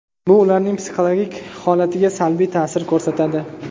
Bu ularning psixologik holatiga salbiy ta’sir ko‘rsatadi.